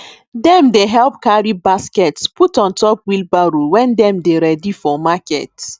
dem dey help carry baskets put on top wheelbarrow wen dem dey ready for market